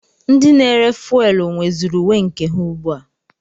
Ndị na-ere fuwelu nweziri uwe nke ha ugbu a.